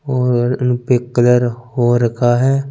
और उन pink colour हो रखा है।